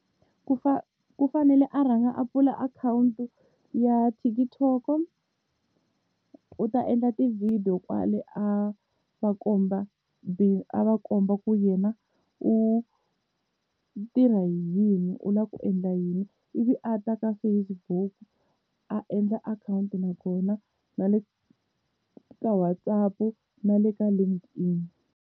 Ku u fanele a rhanga a pfula akhawunti ya TikTok, u ta endla tivhidiyo kwale a va komba a va komba ku yena u u tirha yini u lava ku endla yini. Ivi a ta ka Facebook a endla akhawunti na kona, na le ka WhatsApp na le ka Linking.